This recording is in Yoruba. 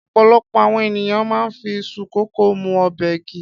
Ọ̀pọ̀lọpọ̀ àwọn ènìyàn máa ń fi iṣu kòkó mú ọbẹ̀ ki.